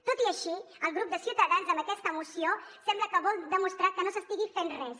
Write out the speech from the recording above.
tot i així el grup de ciutadans amb aquesta moció sembla que vol demostrar que no s’estigui fent res